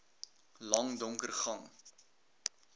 lang donker gang